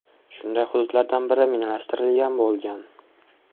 Shunday hududlardan biri minalashtirilgan bo‘lgan.